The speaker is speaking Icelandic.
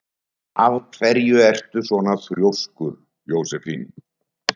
Af hverju ertu svona þrjóskur, Jósefín?